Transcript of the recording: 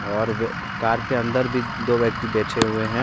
और वे कार के अंदर भी दो व्यक्ति बैठे हुए हैं।